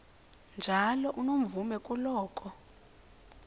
njalo unomvume kuloko